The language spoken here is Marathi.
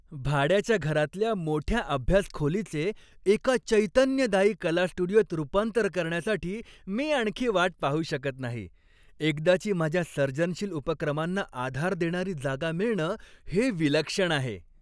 भाड्याच्या घरातल्या मोठ्या अभ्यास खोलीचे एका चैतन्यदायी कला स्टुडिओत रूपांतर करण्यासाठी मी आणखी वाट पाहू शकत नाही. एकदाची माझ्या सर्जनशील उपक्रमांना आधार देणारी जागा मिळणं हे विलक्षण आहे.